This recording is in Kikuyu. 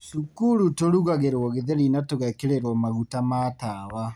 Cukuru tũrugagĩrwo gĩtheri na tũgekĩrĩrwo maguta ma tawa.